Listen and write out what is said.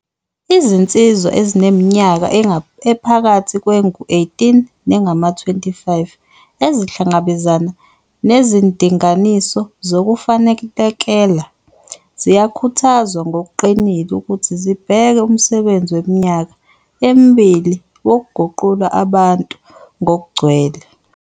Izinsizwa ezineminyaka ephakathi kwengu-18 nengama-25 ezihlangabezana nezindinganiso zokufanelekela ziyakhuthazwa ngokuqinile ukuthi zibheke umsebenzi weminyaka emibili, wokuguqula abantu ngokugcwele.